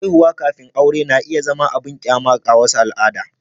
Haihuwa kafin aure na iya zama abin kyama ga wasu al’ada.